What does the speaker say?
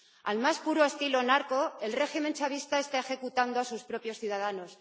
Al más puro estilo narco, el régimen chavista está ejecutando a sus propios ciudadanos.